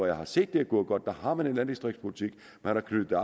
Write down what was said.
jeg har set det er gået godt har man en landdistriktspolitik man har knyttet